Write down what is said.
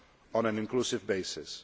on an inclusive basis.